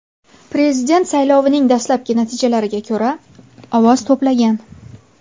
Prezident saylovining dastlabki natijalariga ko‘ra, ovoz to‘plagan.